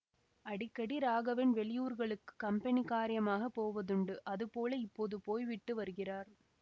அடிக்கடி ராகவன் வெளியூர்களுக்குக் கம்பெனி காரியமாகப் போவதுண்டு அதுபோல இப்போது போய்விட்டு வருகிறார்